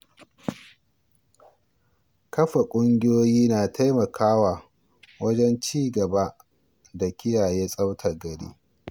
Yana da kyau a tsara kwanakin musamman don tsaftace tituna da wuraren shaƙatawa.